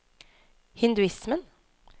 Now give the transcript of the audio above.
hinduismen